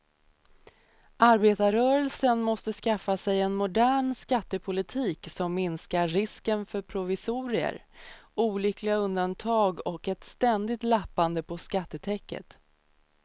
Arbetarrörelsen måste skaffa sig en modern skattepolitik som minskar risken för provisorier, olyckliga undantag och ett ständigt lappande på skattetäcket.